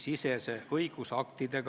Kas ma saan õigesti aru?